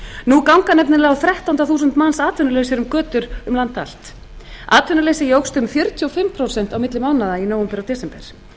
nú ganga nefnilega um þrettán þúsund manns atvinnulausar um götur um land allt atvinnuleysi jókst um fjörutíu og fimm prósent á milli mánaða í nóvember og desember